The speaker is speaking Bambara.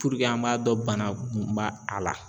Puruke an m'a dɔn bana mun ba a la.